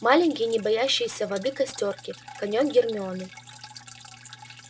маленькие не боящиеся воды костёрки конёк гермионы